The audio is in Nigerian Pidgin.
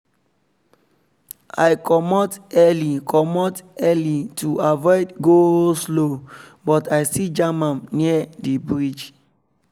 i komot early komot early to avoid go-slow but i still jam am near the bridge